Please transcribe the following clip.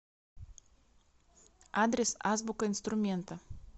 адрес азбука инструмента